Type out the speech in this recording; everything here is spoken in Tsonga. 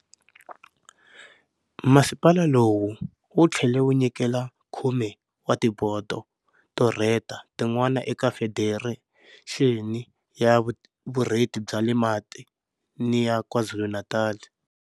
Masipala lowu wu tlhele wu nyikela 10 wa tibodo to rheta tin'wana eka Federexeni ya Vurheti bya le Matini ya KwaZulu-Natal.